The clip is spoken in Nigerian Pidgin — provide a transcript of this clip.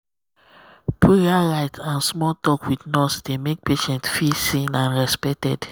prayer um rite and small talk with nurse dey make patient um feel seen and respected.